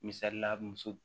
Misalila muso